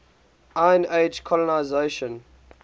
iron age colonisation